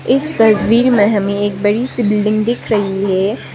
इस तस्वीर में हमें एक बड़ी सी बिल्डिंग दिख रही है।